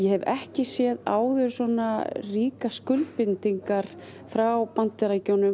hef ekki séð áður svona ríkar skuldbindingar frá Bandaríkjunum